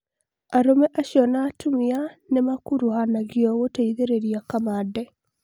arũme acio na atumia nimakuruhanagio gũteithĩrĩria kamande